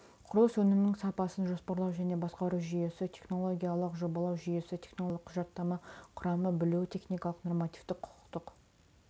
құрылыс өнімінің сапасын жоспарлау және басқару жүйесі технологиялық жобалау жүйесі технологиялық құжаттама құрамы білуі техникалық нормативтік-құқықтық